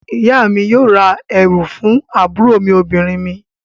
Ìyá mi yóò ra ẹ̀wù fún àwọn àbúrò obìnrin mi.